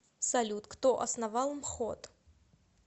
салют кто основал мхот